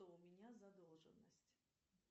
у меня задолженность